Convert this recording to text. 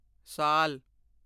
ਸਾਲ